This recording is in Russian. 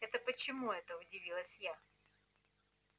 это почему это удивилась я